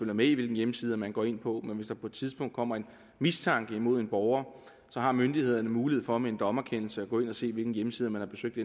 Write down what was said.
med i hvilke hjemmesider man går ind på men hvis der på et tidspunkt kommer en mistanke mod en borger har myndighederne mulighed for med en dommerkendelse at gå ind og se hvilke hjemmesider man har besøgt